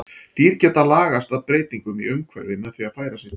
Dýr geta lagast að breytingum í umhverfi með því að færa sig til.